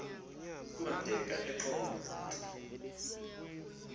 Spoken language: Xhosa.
ukuba ndemka eqonce